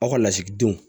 Aw ka lasigidenw